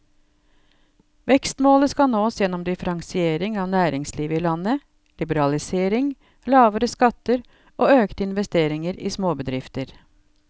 Vekstmålet skal nås gjennom differensiering av næringslivet i landet, liberalisering, lavere skatter og økte investeringer i småbedrifter.